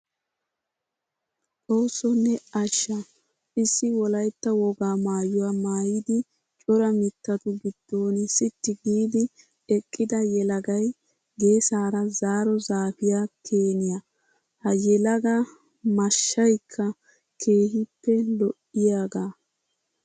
Xooso ne asha! Issi wolaytta wogaa maayuwa maayiddi cora mittatu giddon sitti giidi eqidda yelagay geessara zaaro zaafiya keeniya. Ha yelaga maashshaykka keehippe lo'iyaaga.